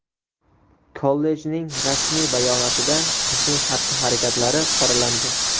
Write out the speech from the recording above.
Kollejning rasmiy bayonotida qizning xatti-harakatlari qoralandi.